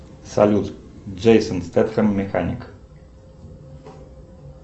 салют джейсон стетхем механик